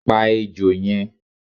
Pá ejò yẹn!